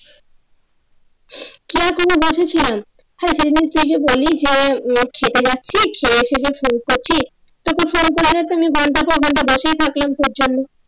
কি আর করবো বাসায় ছিলাম হ্যা সেদিন যে তুই বললি যে আহ খেতে যাচ্ছিস খেয়ে যে ফোন করছিস সে তো ফোন ধরো না তুমি ঘন্টার ঘন্টার পর বসেই থাকলাম তোর জন্য